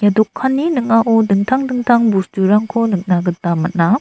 dokanni ning·ao dingtang dingtang bosturangko nikna gita man·a.